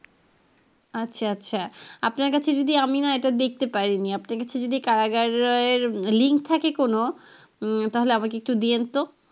আচ্ছা আচ্ছা আপনার কাছে যদি আমি না এইটা দেখতে পারিনি আপনার কাছে এইটার link আছে যদি কারাগারের link থাকে কোনো উম তাহলে আমাকে একটু দেন তো।